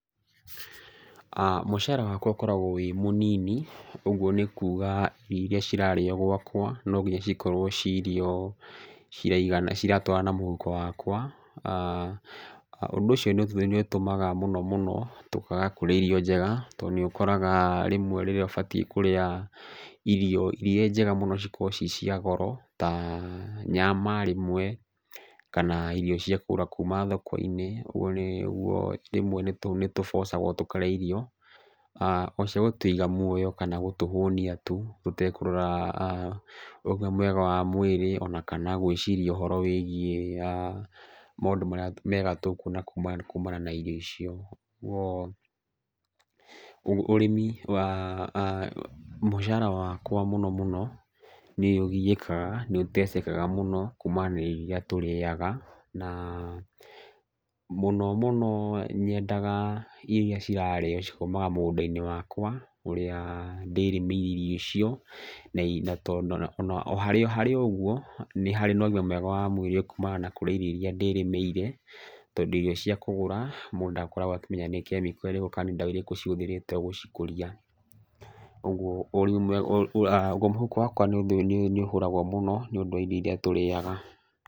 Mũcara wakwa ũkoragwo wĩ mũnini, ũguo nĩ kuuga irio irĩa cirarĩo gwakwa no nginya cikorwo ci irio ciraigana, ciratwarana na mũhuko wakwa. Ũndũ ũcio nĩ ũtũmaga mũno mũno tũkaga kũrĩa irio njega. Tondũ nĩ ũkoraga rĩmwe rĩrĩa ũbatiĩ kũrĩa irio irĩa njega mũno cikoragwo ci cia goro, ta nyama rĩmwe, kana irio cia kũgũra kuuma thoko-inĩ. Ũguo rĩmwe nĩ tũ bũcagwo tũkarĩa irio, o cia gũtũiga muoya kana cia gũtũhũnia tu tũtekũrora ũgima mwega wa mwĩrĩ, ona kana gwĩciria ũhoro wĩgiĩ maũndũ marĩa mega tũkuona kuuma, kumana na irio icio. Ũguo ũrĩmi, mũcara wakwa mũno mũno nĩ ũgiĩkaga, nĩ ũtecekaga mũno kuumania na irio irĩa tũrĩaga. Na mũno mũno nyendaga irio irĩa cirarĩo cikoimaga mũgũnda-inĩ wakwa ũrĩa ndĩrĩmĩire irio icio. O harĩ o ũguo nĩ harĩ na ũgima mwega wa mwĩrĩ kuumana na kũrĩa irio icio ndĩrĩmĩire, tondũ irio cia kũgũra mũndũ ndakoragwo akĩmenya nĩ chemical ĩrĩkũ kana nĩ ndawa ĩrĩkũ cihũthĩrĩtwo gũcikũria. Ũguo mũhuko wakwa nĩ ũhũragwo mũno nĩ ũndũ wa irio irĩa tũrĩaga.